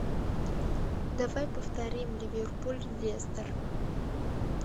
давай повторим ливерпуль лестер